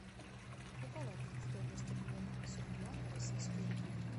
какова будет стоимость обмена с рубля на российские рубли